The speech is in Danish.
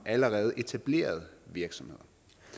og allerede etablerede virksomheder